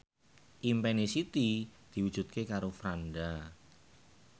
impine Siti diwujudke karo Franda